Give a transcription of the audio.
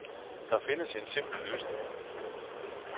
Der findes en simpel løsning.